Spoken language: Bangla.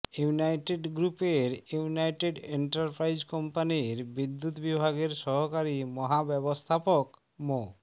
ইউনাইডেট গ্রুপের ইউনাইটেড এন্টারপ্রাইজ কম্পানির বিদ্যুৎ বিভাগের সহকারী মহাব্যবস্থাপক মো